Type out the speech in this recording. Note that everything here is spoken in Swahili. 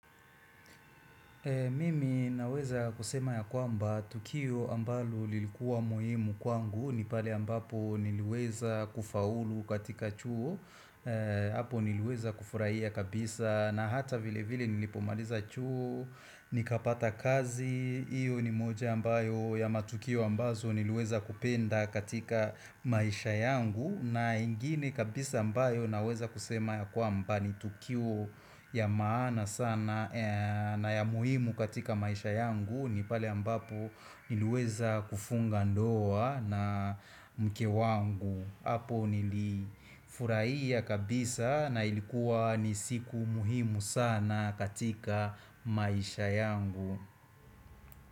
Mimi naweza kusema ya kwamba tukio ambalo lilikuwa muhimu kwangu ni pale ambapo niliweza kufaulu katika chuo, eeeeeeeeeee hapo niliweza kufurahia kabisa na hata vile vile nilipomaliza chuo, nikapata kazi, iyo ni moja ambayo ya matukio ambazo niliweza kupenda katika maisha yangu na ingine kabisa ambayo naweza kusema ya kwamba ni tukio ya maana sana eeeeeeeeeeee na ya muhimu katika maisha yangu ni pale ambapo niliweza kufunga ndoa na mke wangu hapo nilifurahia kabisa na ilikuwa ni siku muhimu sana katika maisha yangu.